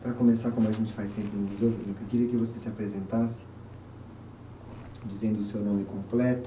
Para começar, como a gente faz sempre no, eu queria que você se apresentasse, dizendo o seu nome completo.